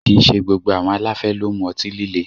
Kìí ṣe gbogbo àwọn aláfẹ́ ló ń mu ọtí líle